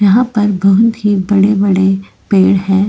यहा पर बहुत ही बड़े बड़े पेड़ है।